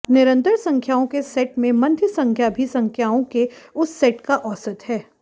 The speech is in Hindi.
निरंतर संख्याओं के सेट में मध्य संख्या भी संख्याओं के उस सेट का औसत है